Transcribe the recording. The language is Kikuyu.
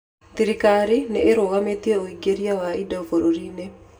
Thirikari nĩ ĩrũgamĩtie ũingĩria wa indo bũrũri-inĩ.